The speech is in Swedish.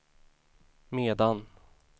medan